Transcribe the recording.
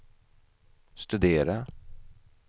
studera